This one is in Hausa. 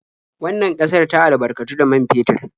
Wannan ƙasar ta albarkatu da man fetur.